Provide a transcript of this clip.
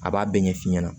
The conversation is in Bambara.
A b'a bɛɛ ɲɛf'i ɲɛna